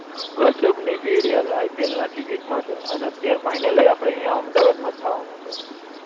video IPL ના ticket માટે ને અત્યારે ફાઈનલ હવે આપણે અહિયાં અમદાવાદ મા જ થવાનું છે